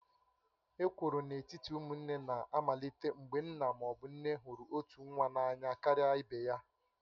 Ekworo n'etiti ụmụnne na-amalite mgbe nna ma ọ bụ nne hụrụ otu nwa n'anya karịa ibe ya